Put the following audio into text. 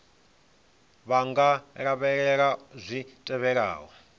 vha nga lavhelela zwi tevhelaho